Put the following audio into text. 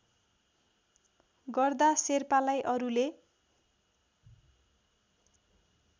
गर्दा शेर्पालाई अरूले